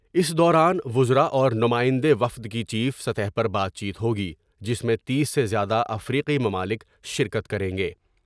اس دوران وزراء اور نمائندے وفد کی چیف سطح پر بات چیت ہوگی جس میں تیس سے زیادہ افریقی ممالک شرکت کر یں گے ۔